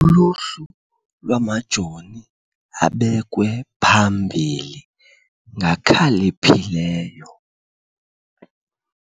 Uluhlu lwamajoni abekwe phambili ngakhaliphileyo.